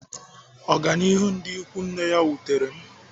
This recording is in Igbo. Ọganihu ndị ikwu nne ya wutere m.